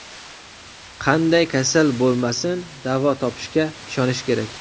Qanday kasal bo‘lmasin, davo topishga ishonish kerak.